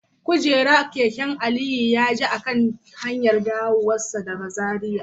Kujerar keke Aliyu ya ji a kan hanyarsa ta dawowa daga Zaria